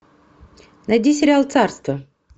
найди сериал царство